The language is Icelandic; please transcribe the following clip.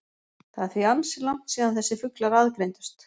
Það er því ansi langt síðan þessir fuglar aðgreindust.